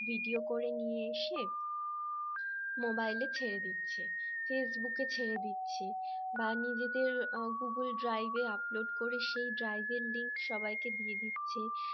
video করে নিয়ে এসে মোবাইলে ছেড়ে দিচ্ছে ফেসবুকে ছেড়ে দিচ্ছি বা নিজেদের google drive upload করে সেই drive এর link সবাইকে দিয়ে দিচ্ছে